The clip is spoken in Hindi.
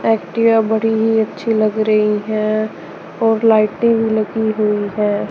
एक्टिवा बड़ी ही अच्छी लग रही है और लाइटें भी लगी हुई है।